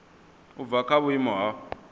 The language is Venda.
u bva kha vhuimo ha